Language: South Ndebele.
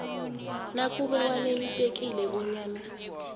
nakube wanelisekile bonyana